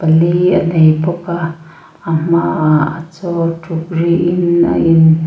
lei a nei bawk a a hmaah chaw in a in--